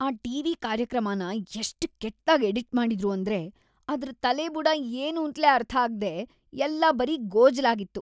ಆ ಟಿ.ವಿ. ಕಾರ್ಯಕ್ರಮನ ಎಷ್ಟ್‌ ಕೆಟ್ದಾಗ್ ಎಡಿಟ್‌ ಮಾಡಿದ್ರು ಅಂದ್ರೆ ಅದ್ರ್‌ ತಲೆಬುಡ ಏನೂಂತ್ಲೇ ಅರ್ಥಾಗ್ದೇ ಎಲ್ಲ ಬರೀ ಗೋಜಲಾಗಿತ್ತು.